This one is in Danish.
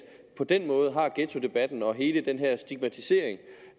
på den måde har ghettodebatten og hele den her stigmatisering